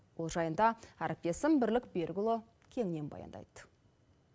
бұл жайында әріптесім бірлік берікұлы кеңінен баяндайды